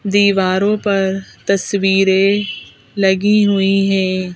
दीवारों पर तस्वीरें लगी हुई हैं।